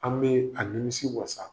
An' bee a nimisi wasa.